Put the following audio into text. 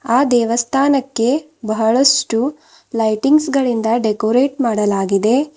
ಆ ದೇವಸ್ಥಾನಕ್ಕೆ ಬಹಳಷ್ಟು ಲೈಟಿಂಗ್ಸ್ ಗಳಿಂದ ಡೆಕೋರೇಟ್ ಮಾಡಲಾಗಿದೆ.